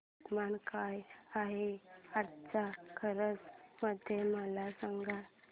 तापमान काय आहे आज कारंजा मध्ये मला सांगा